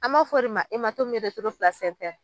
A m'a fɔ o de ma